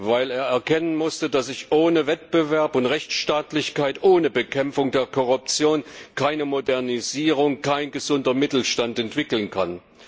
weil er erkennen musste, dass sich ohne Wettbewerb und Rechtsstaatlichkeit, ohne Bekämpfung der Korruption keine Modernisierung, kein gesunder Mittelstand entwickeln kann.